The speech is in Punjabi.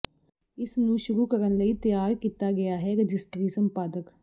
ਇਸ ਨੂੰ ਸ਼ੁਰੂ ਕਰਨ ਲਈ ਤਿਆਰ ਕੀਤਾ ਗਿਆ ਹੈ ਰਜਿਸਟਰੀ ਸੰਪਾਦਕ